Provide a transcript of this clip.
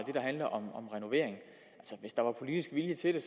handler om renovering hvis der var politisk vilje til det